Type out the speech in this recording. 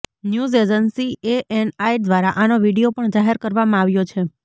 news agency ANI દ્વારા આનો video પણ જાહેર કરવામાં આવ્યો છે